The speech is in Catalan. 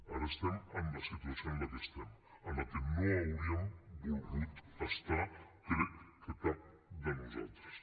ara estem en la situació en la que estem en la que no hauríem volgut estar crec que cap de nosaltres